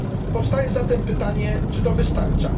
Powstaje zatem pytanie czy to wystarcza?